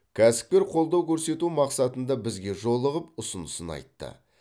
кәсіпкер қолдау көрсету мақсатында бізге жолығып ұсынысын айтты